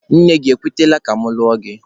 Nne gị ekwetela ka mụ lụọ gị?